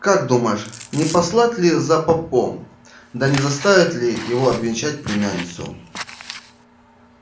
как думаешь не послать ли за попом да не заставить ли его обвенчать племянницу